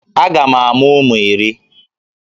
Aga m amụ ụmụ iri